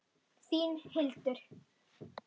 Þín, Hildur.